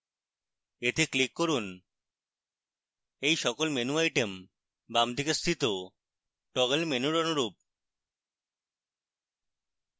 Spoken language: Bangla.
এতে click করুন এই সকল menu items বামদিকে স্থিত toggle menu অনুরূপ